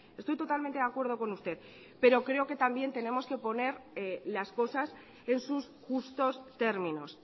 estoy totalmente de acuerdo con usted pero creo que también tenemos que poner las cosas en sus justos términos